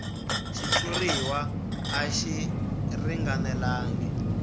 xitshuriwa a xi ringanelangi